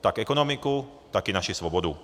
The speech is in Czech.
tak ekonomiku, tak i naši svobodu.